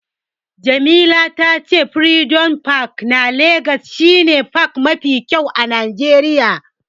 Jamila ta ce furidom pak na legas shi ne pak mafi kyau a najeriya